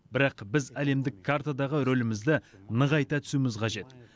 бірақ біз әлемдік картадағы рөлімізді нығайта түсуіміз қажет